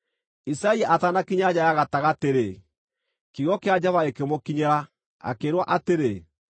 Isaia atanakinya nja ya gatagatĩ-rĩ, kiugo kĩa Jehova gĩkĩmũkinyĩra, akĩĩrwo atĩrĩ: